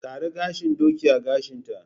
Ƙara gashin doki a gashinta!